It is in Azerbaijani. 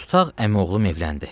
Tutaq əmioğlum evləndi.